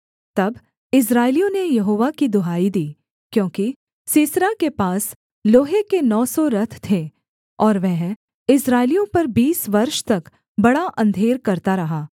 तब इस्राएलियों ने यहोवा की दुहाई दी क्योंकि सीसरा के पास लोहे के नौ सौ रथ थे और वह इस्राएलियों पर बीस वर्ष तक बड़ा अंधेर करता रहा